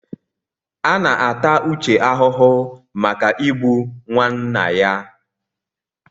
A na-ata Uche ahụhụ maka Igbu nwanna ya.